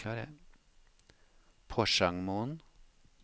Porsangmoen